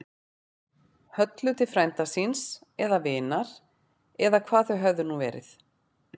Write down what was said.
Höllu til frænda síns. eða vinar. eða hvað þau höfðu nú verið.